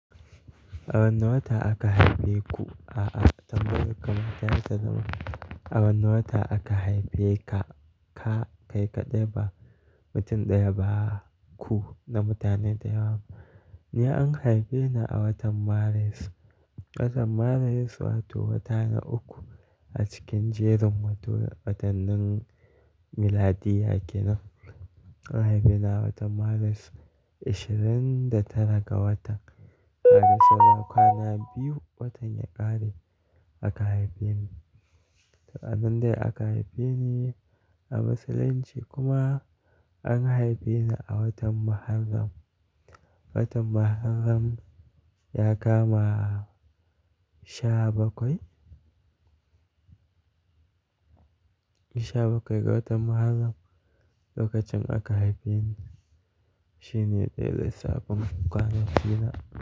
A wane wata aka haife ku? A'a, tambayar ka ma ta yayi ta zama. A wane wata aka haife ka, ka kai kaɗai ba mutum ɗaya ba ku na mutane da yawa. Ni an haife ni a watan Maris. Watan Maris wato wata na uku a cikin jerin watannin miladiyya kenan. An haife ni a watan Maris, ashirin da tara ga wata. Haka saura kwana biyu watan ya ƙare aka haife ni. Sa'an nan dai aka haife ni a Musulunci kuma an haife ni a watan Muharram. Watan Muharram ya kama sha bakwai. Sha bakwai ga watan Muharram lokacin aka haife ni. Shi ne daya lissafin kwanaki na.